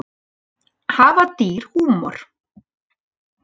Hafa dýr húmor?